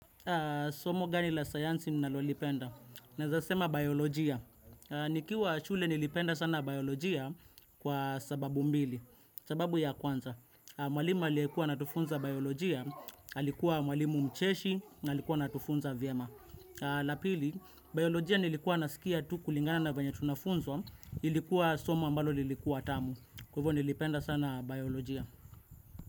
Somo gani la sayansi nalolipenda. Naezasema biolojia. Nikiwa shule nilipenda sana biolojia kwa sababu mbili. Sababu ya kwanza. Mwalimu aliyekuwa anatufunza biolojia. Alikuwa mwalimu mcheshi na alikuwa anatufunza vyema. La pili, biolojia nilikuwa nasikia tu kulingana na venye tunafunzwa. Ilikuwa somo ambalo lilikuwa tamu. Kwa ivo nilipenda sana biolojia.